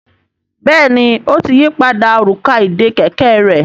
Béèni o tí yí pàdà Òrùka ìdè kẹ̀kẹ́ rẹ.